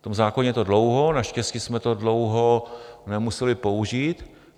V tom zákoně je to dlouho, naštěstí jsme to dlouho nemuseli použít.